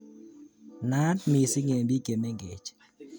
Naat missing eng bik che mengech